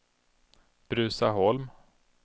Bruzaholm